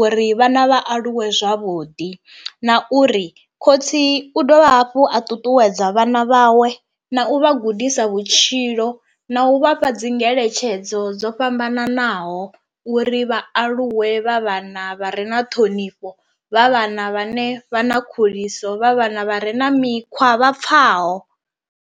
uri vhana vha aluwe zwavhuḓi, na uri khotsi u dovha hafhu a ṱuṱuwedza vhana vhawe na u vha gudisa vhutshilo na u vhafha dzi ngeletshedzo dzo fhambananaho uri vha aluwe vha vhana vha re na ṱhonifho, vha vhana vhane vha na khuliso vha vhana vha re na mikhwa vha pfhaho.